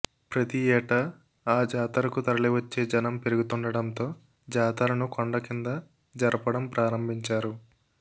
ప్రతి ఏటా ఆ జాతరకు తరలి వచ్చే జనం పెరుగుతుండడంతో జాతరను కొండ కింద జరపడం ప్రారంభించారు